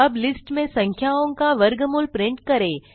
अब लिस्ट में संख्याओं का वर्गमूल प्रिंट करें